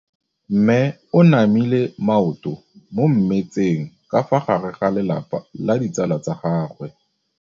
Mme o namile maoto mo mmetseng ka fa gare ga lelapa le ditsala tsa gagwe.